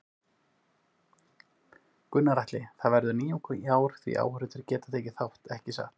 Gunnar Atli: Það verður nýjung í ár því áhorfendur geta tekið þátt, ekki satt?